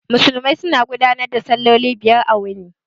Musulmai suna gudanar da salloli biyar a wuni